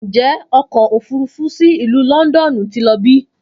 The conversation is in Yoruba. Njẹ ọkọ ofurufu si Ilu Lọndọnu ti lọ bi?